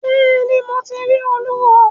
Bẹ́ẹ̀ ni, Mo ti rí Olúwo.